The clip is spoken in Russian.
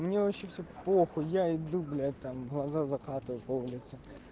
мне вообще все похуй я иду блять там глаза закатываю по улице